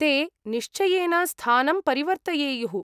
ते निश्चयेन स्थानं परिवर्तयेयुः।